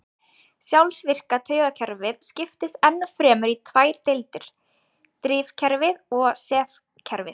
Sjálfvirka taugakerfið skiptist enn fremur í tvær deildir- drifkerfið og sefkerfið.